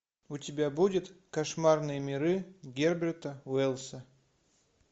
у тебя будет кошмарные миры герберта уэллса